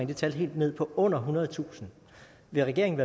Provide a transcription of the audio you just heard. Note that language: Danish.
det tal helt ned på under ethundredetusind vil regeringen